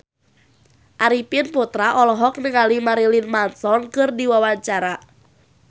Arifin Putra olohok ningali Marilyn Manson keur diwawancara